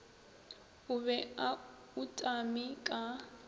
o be a utame ka